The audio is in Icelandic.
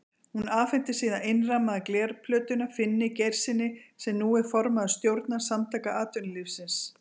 Hún afhenti síðan innrammaða glerplötuna Finni Geirssyni, sem nú er formaður stjórnar Samtaka atvinnulífsins.